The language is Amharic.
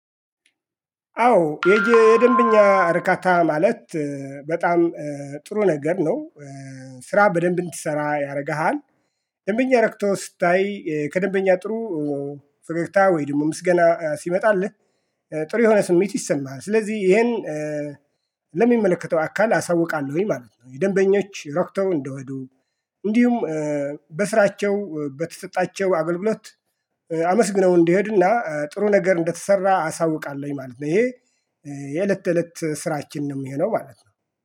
አዎ የደንብኛ እርካታ ማለት በጣም ጥሩ ነገር ነው። ስራ በደንብ እንዲሰራ ያረግሃል ደንበኛ ረክቶ ስታይ ከደንበኛ ጥሩ ፈገግታ ወይም ደግሞ ምስገና ሲመጣልህ ጥሩ የሆነ ስሜት ይሰማሃል። ስለዚህ ይሄን ለሚመለከተው አካል አሳውቃለሁኝ ማለት ነው። የደንበኞች ረክተው እንደሄዱ እንዲሁም በስራቸው በተሰጣቸው አገልግሎት አመስግነው እንዲሄድና ጥሩ ነገር እንደተሰራ አሳውቃለሁኝ ማለት ነው። ይሄ የእለት እለት ስራችን ነው ሚሆነው ማለት ነው